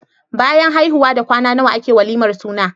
Bayan haihuwa da kwana nawa ake walimar suna?